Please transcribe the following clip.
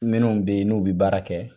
Minun be yen n'u bi baara kɛ